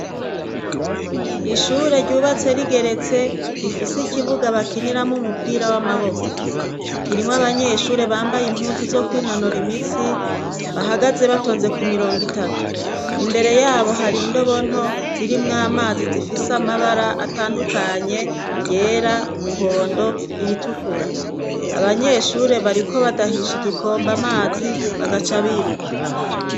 Ishure ryubatse rigeretse . Rifise ikibuga bakiniramo umupira w'amaboko .kirimo abanyeshure bambaye impuzu zo kw'inonora imisi bahagaze batonze ku mirongo itatu imbere yabo hari indobonto zirimw amazi zifise amabara atandukanye ryera, umuhondo iritukura .Abanyeshure bariko badahisha igikomba amazi bagaca biruka.